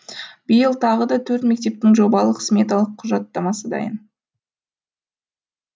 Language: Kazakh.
биыл тағы да төрт мектептің жобалық сметалық құжаттамасы дайын